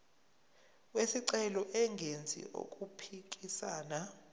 wesicelo engenzi okuphikisana